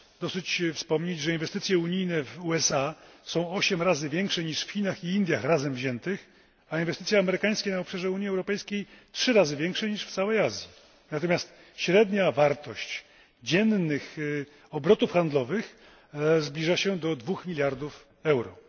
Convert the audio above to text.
Wystarczy wspomnieć, że inwestycje unijne w USA są 8 razy większe niż w Chinach i Indiach razem wziętych, a inwestycje amerykańskie na obszarze Unii Europejskiej trzy razy większe niż w całej Azji. Natomiast średnia wartość dziennych obrotów handlowych zbliża się do 2 miliardów euro.